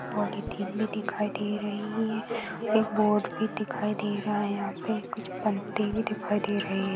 Polythene भी दिखाई दे रही है एक बोर्ड भी दिखाई दे रहा है यहाँ पे कुछ पंक्ति भी दिखाई दे रही है।